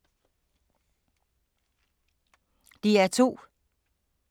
DR2